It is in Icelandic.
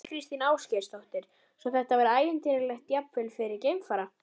Þóra Kristín Ásgeirsdóttir: Svo þetta var ævintýralegt, jafnvel fyrir geimfara?